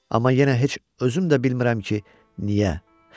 Amma yenə heç özüm də bilmirəm ki, niyə.